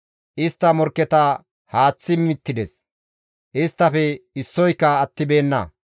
Istta morkketa haaththi mittides; isttafe issoyka attibeenna.